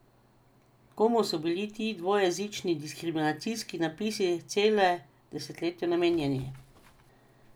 Komu so bili ti dvojezični diskriminacijski napisi celo desetletje namenjeni?